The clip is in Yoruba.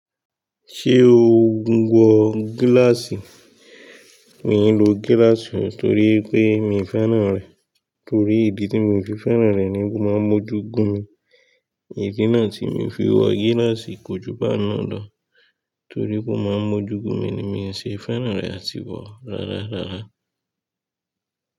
Ṣé o ń wọ gíláàsì? Mi n lo gíláàsì torí pé mi fẹ́ràn rẹ̀. Torí ìdí tí mo fi fẹ́ràn rẹ̀ ni pe oo máa ń mójú gun mi. Ìdí náà tí mo fi ń wọ gíláàsì kò ju bẹ́ẹ̀ náà lọ. Torí pe oo máa ń mójú gun mi ni mi ṣe fẹ́ràn rẹ̀ àti wọ rárá rárá.